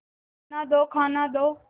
खाना दो खाना दो